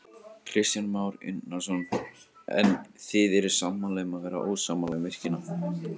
Kristján Már Unnarsson: En þið eruð sammála um að vera ósammála um virkjunina?